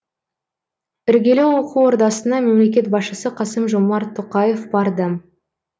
іргелі оқу ордасына мемлекет басшысы қасым жомарт тоқаев барды